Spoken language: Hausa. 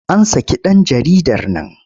An saki ɗan jaridar nan.